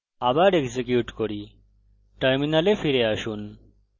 আবার execute করি terminal ফিরে আসুন